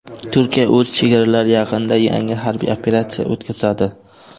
Turkiya o‘z chegaralari yaqinida yangi harbiy operatsiya o‘tkazadi.